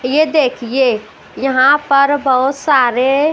ये देखिए यहां पर बहुत सारे--